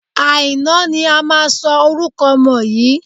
Àìná ni a máa sọ orúkọ ọmọ yìí.